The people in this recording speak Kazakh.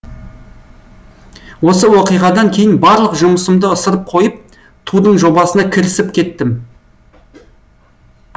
осы оқиғадан кейін барлық жұмысымды ысырып қойып тудың жобасына кірісіп кеттім